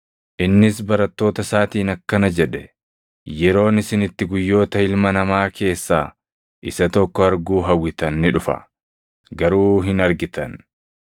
Innis barattoota isaatiin akkana jedhe; “Yeroon isin itti guyyoota Ilma Namaa keessaa isa tokko arguu hawwitan ni dhufa; garuu hin argitan.